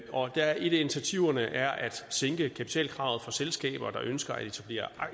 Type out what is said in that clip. af initiativerne er at sænke kapitalkravet for selskaber der ønsker at etablere